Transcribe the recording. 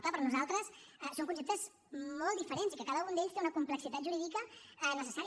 clar per nosaltres són conceptes molt diferents i que cada un d’ells té una complexitat jurídica necessària